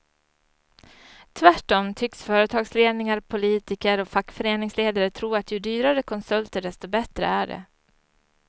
Tvärtom tycks företagsledningar, politiker och fackföreningsledare tro att ju dyrare konsulter desto bättre är det.